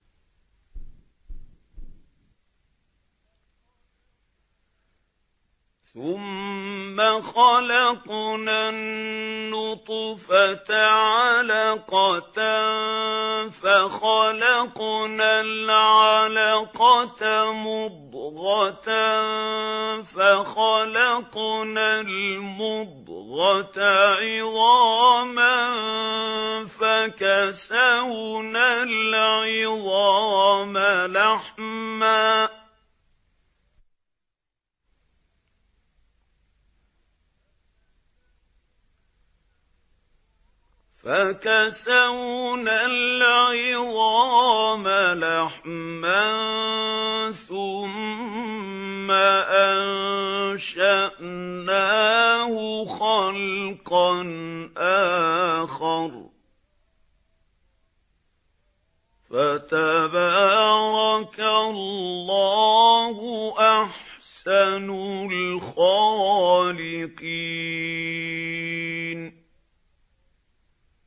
ثُمَّ خَلَقْنَا النُّطْفَةَ عَلَقَةً فَخَلَقْنَا الْعَلَقَةَ مُضْغَةً فَخَلَقْنَا الْمُضْغَةَ عِظَامًا فَكَسَوْنَا الْعِظَامَ لَحْمًا ثُمَّ أَنشَأْنَاهُ خَلْقًا آخَرَ ۚ فَتَبَارَكَ اللَّهُ أَحْسَنُ الْخَالِقِينَ